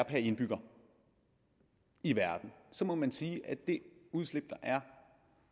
indbygger i verden må man sige at det udslip der er